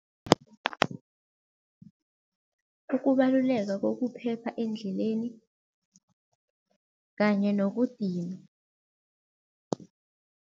Ukubaluleka kokuphepha endleleni kanye nokudinwa.